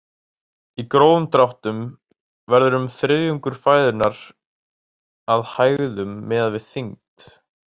Í grófum dráttum verður um þriðjungur fæðunnar að hægðum miðað við þyngd.